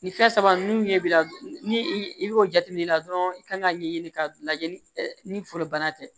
Ni fɛn saba ninnu ɲɛ b'i la ni i bɛ o jateminɛ la dɔrɔn i kan ka ɲɛɲini ka lajɛ ni foro bana tɛ